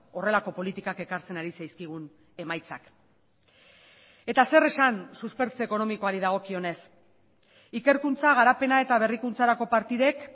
horrelako politikak ekartzen ari zaizkigun emaitzak eta zer esan suspertze ekonomikoari dagokionez ikerkuntza garapena eta berrikuntzarako partidek